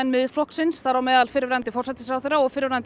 Miðflokksins þar á meðal fyrrverandi forsætisráðherra og fyrrverandi